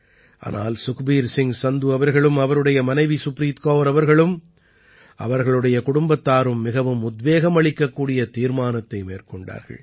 ஆனால் சுக்பீர் சிங் சந்து அவர்களும் அவருடைய மனைவி சுப்ரீத் கௌர் அவர்களும் அவர்களுடைய குடும்பத்தாரும் மிகவும் உத்வேகம் அளிக்கக்கூடிய தீர்மானத்தை மேற்கொண்டார்கள்